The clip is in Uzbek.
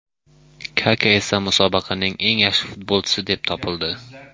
Kaka esa musobaqaning eng yaxshi futbolchisi deb topildi.